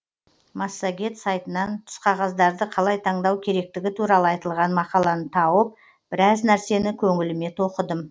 массагет сайтынан түсқағаздарды қалай таңдау керектігі туралы айтылған мақаланы тауып біраз нәрсені көңіліме тоқыдым